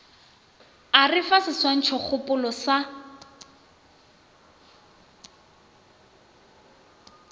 o re fa seswantšhokgopolo sa